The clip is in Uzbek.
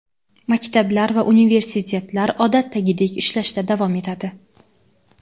maktablar va universitetlar odatdagidek ishlashda davom etadi.